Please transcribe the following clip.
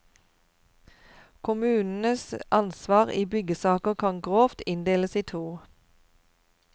Kommunenes ansvar i byggesaker kan grovt inndeles i to.